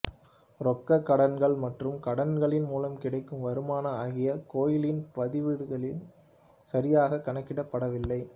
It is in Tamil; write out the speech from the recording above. ரொக்கக் கடன்கள் மற்றும் கடன்களின் மூலம் கிடைக்கும் வருமானம் ஆகியவை கோயிலின் பதிவேடுகளில் சரியாகக் கணக்கிடப்படவில்லை